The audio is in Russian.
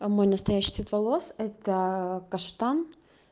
мой настоящий цвет волос это каштан